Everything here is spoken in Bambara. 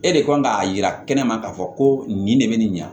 E de kan k'a yira kɛnɛma k'a fɔ ko nin de bɛ nin ɲa